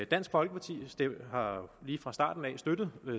dansk folkeparti har lige fra starten af støttet